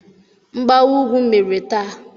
Mgbawa ugwu mere taa.